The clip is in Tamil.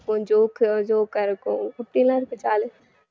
joke உ joke ஆ இருக்கும் இப்பிடியெல்லாம் இருக்கும் jolly அ